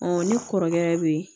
ni kɔrɔkɛ be ye